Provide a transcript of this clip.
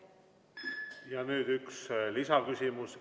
Ja nüüd üks lisaküsimus.